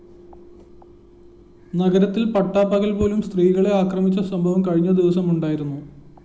നഗരത്തില്‍ പട്ടാപ്പകല്‍ പോലും സ്ത്രീകളെ അക്രമിച്ച സംഭവം കഴിഞ്ഞദിവസമുണ്ടായിരുന്നു